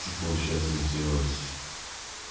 хочу получается сделать